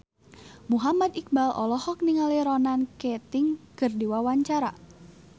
Muhammad Iqbal olohok ningali Ronan Keating keur diwawancara